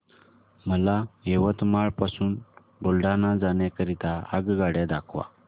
मला यवतमाळ पासून बुलढाणा जाण्या करीता आगगाड्या दाखवा